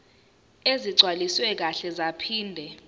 ezigcwaliswe kahle zaphinde